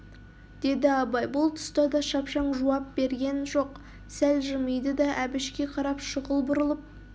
деді абай бұл тұста да шапшаң жуап берген жоқ сәл жымиды да әбішке қарап шұғыл бұрылып